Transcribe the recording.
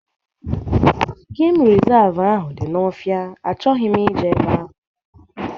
Geem resavu ahụ dị n'ofia, achọghị m ije ebe ahu